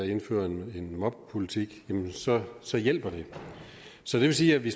indføre en mobbepolitik så så hjælper det så det vil sige at vi